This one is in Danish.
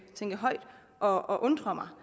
at tænke højt og undre mig